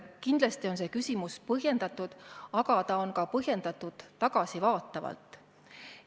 Kindlasti on see küsimus põhjendatud, aga see on ka põhjendatud tagasivaatavalt.